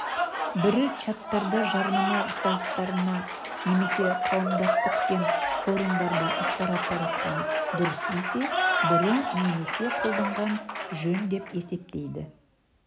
бірі чаттарда жарнама сайттарында немесе қауымдастық пен форумдарда ақпарат таратқан дұрыс десе бірі немесе қолданған жөн деп есептейді